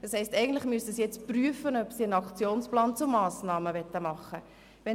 Das heisst, eigentlich müsste die Regierung prüfen, ob sie einen Aktionsplan mit Massnahmen verfassen will.